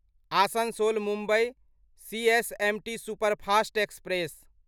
Asansol Mumbai CSMT superfast express